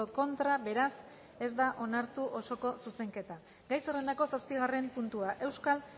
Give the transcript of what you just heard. contra beraz ez da onartu osoko zuzenketa gai zerrendako zazpigarren puntua euskal